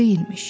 Bu deyilmiş.